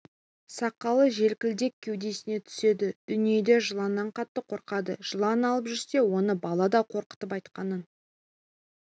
сақалы желкілдек кеудесіне түседі дүниеде жыланнан қатты қорқады жылан алып жүрсе оны бала да қорқытып айтқанын